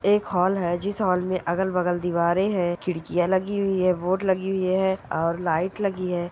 एक हॉल हैं जिस हॉल मे अगल बगल दिवारें हैं खिड़कियाँ लगी हुई हैं लगी हुई हैं और लाइट लगी हैं ।